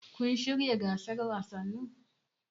Kun shiryawa gasar wasannin?